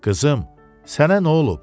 Qızım, sənə nə olub?